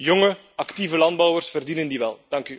Jonge, actieve landbouwers verdienen die wel.